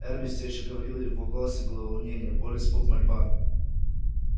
эрби всё ещё говорил и в его голосе было волнение боль испуг мольба